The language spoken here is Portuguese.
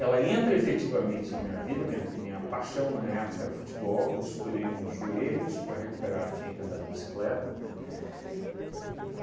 Ela entra efetivamente na minha vida, minha g minha paixão na época era futebol, estourei um dos joelhos para recuperar, tinha que andar de bicicleta.